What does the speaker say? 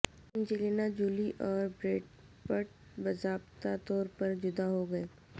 Angelina Jolie اور Brad Pitt باضابطہ طور پر جدا ہو گئے